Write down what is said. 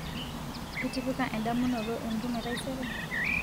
itipika endamunoto entumo etaisere